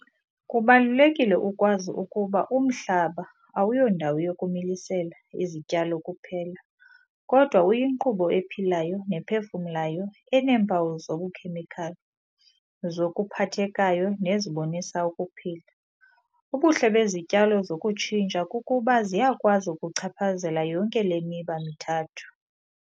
Kubalulekile ukwazi ukuba umhlaba awuyondawo yokumilisela izityalo kuphela, kodwa uyinkqubo ephilayo nephefumlayo eneempawu zobukhemikhali, zokuphathekayo nezibonisa ukuphila. Ubuhle bezityalo zokutshintsha kukuba ziyakwazi ukuchaphazela yonke le miba mithathu.